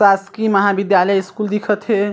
शासकीय महाविद्यालय स्कूल दिखत हे।